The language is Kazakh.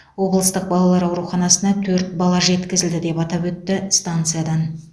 облыстық балалар ауруханасына төрт бала жеткізілді деп атап өтті станциядан